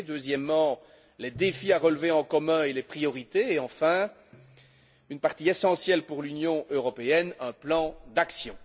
deuxièmement, les défis à relever en commun et les priorités et enfin, une partie essentielle pour l'Union européenne, un plan d'action.